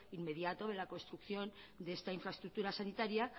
inmediato de la construcción de esta infraestructura sanitaria